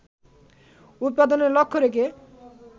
উৎপাদনের লক্ষ্য রেখে